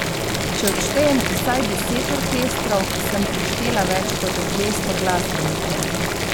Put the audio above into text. Če odštejem vsaj deset orkestrov, sem preštela več kot dvesto glasbenikov!